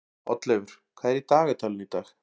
Oddleifur, hvað er í dagatalinu í dag?